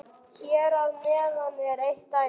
Hér að neðan er eitt dæmi: